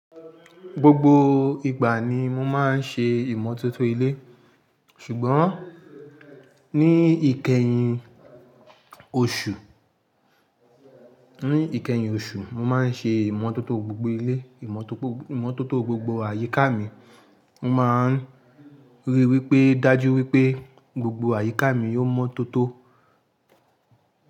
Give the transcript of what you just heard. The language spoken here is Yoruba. Gbogbo ìgbà ni mo máa ń ṣe ìmọ́tótó ilé. Ṣùgbọ́n, ní ìkẹyìn oṣù, ní ìkẹyìn oṣù, mo máa ń ṣe ìmọ́tótó gbogbo ilé, ìmọ́tótó gbogbo àyíká mi. Mo máa ń ríi wípé dájú wípé gbogbo àyíká mi yóò mọ́tótó.